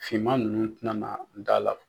Finman ninnu tɛna na da la.